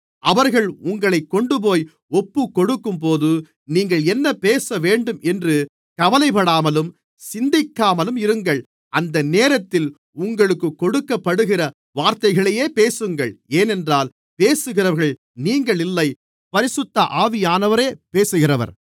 அவர்கள் உங்களைக் கொண்டுபோய் ஒப்புக்கொடுக்கும்போது நீங்கள் என்ன பேசவேண்டும் என்று கவலைப்படாமலும் சிந்திக்காமலும் இருங்கள் அந்த நேரத்திலே உங்களுக்குக் கொடுக்கப்படுகிற வார்த்தைகளையே பேசுங்கள் ஏனென்றால் பேசுகிறவர்கள் நீங்கள் இல்லை பரிசுத்த ஆவியானவரே பேசுகிறவர்